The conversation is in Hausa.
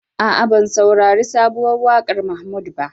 A'a, ban sarari sabuwar waƙar Mahmud ba.